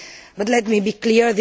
But let me be clear.